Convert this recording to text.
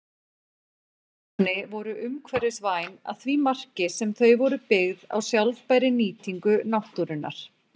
Þessi ilmefni voru umhverfisvæn að því marki sem þau voru byggð á sjálfbærri nýtingu náttúrunnar.